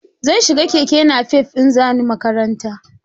Zan shi ga keke nafef in za ni makaranta